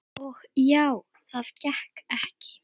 Og já, það gekk ekki.